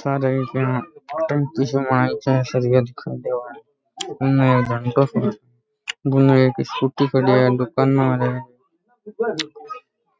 सारे एक टेम्पू उने एक स्कूटी खड़ी है दूकाना र है